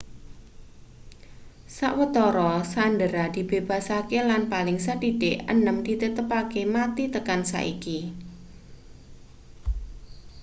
sawetara sandera dibebasake lan paling sethithik enem ditetepake mati tekan saiki